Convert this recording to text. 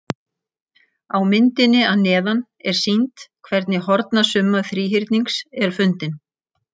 Á myndinni að neðan er sýnt hvernig hornasumma þríhyrnings er fundin.